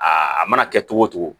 Aa a mana kɛ cogo o cogo